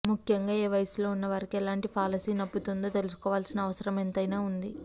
ముఖ్యంగా ఏ వయసులో ఉన్నవారికి ఎలాంటి పాలసీ నప్పుతుందో తెలుసుకోవాల్సిన అవసరం ఎంతైనా ఉంది